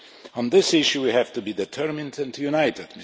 On this issue we have to be determined and united.